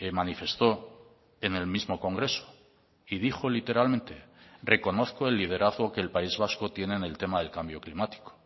manifestó en el mismo congreso y dijo literalmente reconozco el liderazgo que el país vasco tiene en el tema del cambio climático